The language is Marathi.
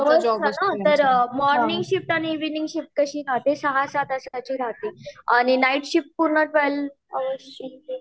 तर मोर्निंग शिफ्ट आणि ईविनिंग शिफ्ट कशी राहते सहा सहा तासाची राहते अन नाइट शिफ्ट पूर्ण ट्वेल्व आर्स ची